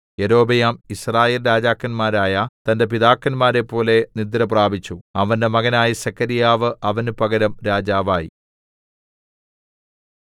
യൊരോബെയാം യിസ്രായേൽരാജാക്കന്മാരായ തന്റെ പിതാക്കന്മാരെപ്പോലെ നിദ്രപ്രാപിച്ചു അവന്റെ മകനായ സെഖര്യാവ് അവന് പകരം രാജാവായി